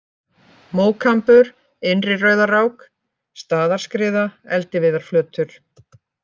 Mókambur, Innri-Rauðarák, Staðarskriða, Eldiviðarflötur